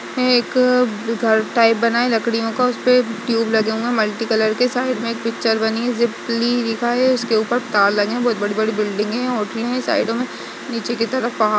एक घर टाइप बना है लकड़ियों का उसपे ट्यूब लगे हुए हैं मल्टीकलर के साइड में एक पिक्चर बनी है जिपली लिखा है उसके उपर तार लगे हैं बोहोत बड़ी बड़ी बिल्डिंगे हैं और ट्री है साइडो में नीचे के तरफ पहाड़ --